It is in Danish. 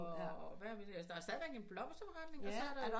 Og hvad der er stadigvæk en blomsterforretning